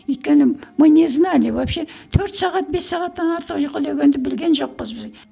өйткені мы не знали вообще төрт сағат бес сағаттан артық ұйқы дегенді білген жоқпыз біз